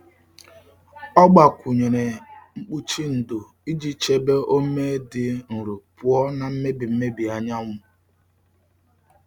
Ọ gbakwụnyere mkpuchi ndò iji chebe ome dị nro pụọ na mmebi mmebi anyanwụ.